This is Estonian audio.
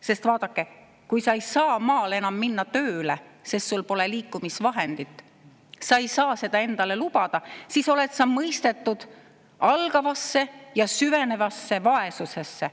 Sest vaadake, kui sa ei saa maal enam minna tööle, sest sul pole liikumisvahendit, sa ei saa seda endale lubada, siis oled sa mõistetud algavasse ja süvenevasse vaesusesse.